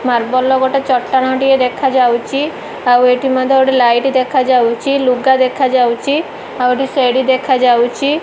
Marble ର ଗୋଟେ ଚଟାଣ ଟିଏ ଦେଖାଯାଉଚି ଆଉ ଏଠି ମଧ୍ୟ ଗୋଟେ ଲାଇଟ୍ ଦେଖାଯାଉଚି ଲୁଗା ଦେଖାଯାଉଚି ଆଉ ଏଠି ସେଡି ଦେଖାଯାଉଚି।